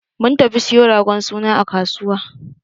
Mun tafi siyo ragon suna a kasuwa.